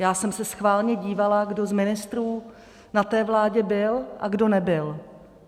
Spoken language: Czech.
Já jsem se schválně dívala, kdo z ministrů na té vládě byl a kdo nebyl.